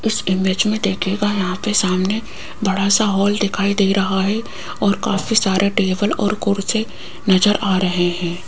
इस इमेज में देखिएगा यहां पे सामने बड़ा सा हाॅल दिखाई दे रहा है और काफी सारे टेबल और कुर्सी नजर आ रहे हैं।